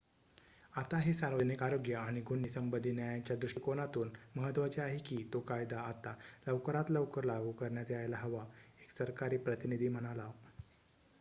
"""आता हे सार्वजनिक आरोग्य आणि गुन्हे संबधी न्यायाच्या दृष्टीकोनातून महत्वाचे आहे की तो कायदा आता लवकरात लवकर लागू करण्यात यायला हवा," एक सरकारी प्रतिनिधी म्हणाला.